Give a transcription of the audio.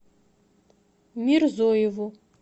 мирзоеву